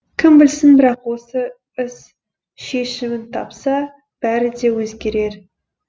кім білсін бірақ осы іс шешімін тапса бәрі де өзгерер